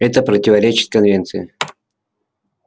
это противоречит конвенции